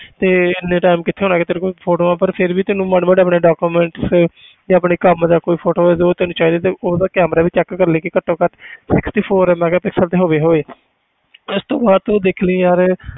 ਤੇ ਇੰਨਾ time ਕਿੱਥੇ ਹੋਣਾ ਕਿ ਤੇਰੇ ਕੋਲ photos ਪਰ ਫਿਰ ਵੀ ਤੈਨੂੰ ਮਾੜੇ ਮਾੜੇ ਆਪਣੇ document save ਜਾਂ ਆਪਣੇ ਕੰਮ ਦਾ ਕੋਈ photo ਹੋਏਗਾ ਉਹ ਤੈਨੂੰ ਚਾਹੀਦੇ ਤੇ ਉਹਦਾ camera ਵੀ check ਕਰ ਲਈ ਕਿ ਘੱਟੋ ਘੱਟ sixty four megapixel ਤੇ ਹੋਵੇ ਹੀ ਹੋਏ ਇਸ ਤੋਂ ਬਾਅਦ ਤੂੰ ਦੇਖ ਲਵੀਂ ਯਾਰ,